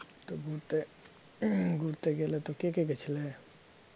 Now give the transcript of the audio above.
তো ঘুরতে ঘুরতে গেলে তো কে কে গেছিলে?